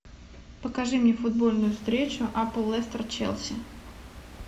покажи мне футбольную встречу апл лестер челси